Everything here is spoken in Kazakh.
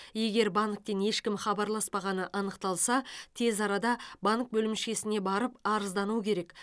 егер банктен ешкім хабарласпағаны анықталса тез арада банк бөлімшесіне барып арыздану керек